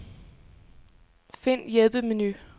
Find hjælpemenu.